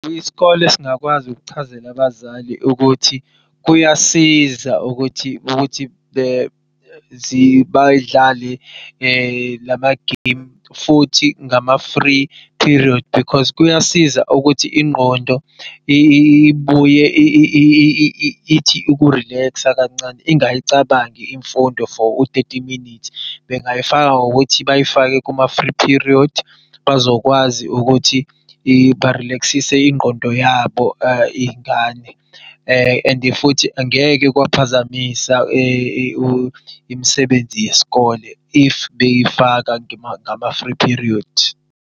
Isikole singakwazi ukuchazela abazali ukuthi kuyasiza ukuthi bayidlale lama-game futhi ngama-free period because kuyasiza ukuthi ingqondo ibuye ithi uku-relax-a kancane ingayicabangi imfundo for u-thirty minutes bengayifaka ngokuthi bayifake kuma-free period bazokwazi ukuthi ba-relax-sise ingqondo yabo iy'ngane. And futhi angeke kwaphazamisa imisebenzi yesikole if beyifaka ngama-free period.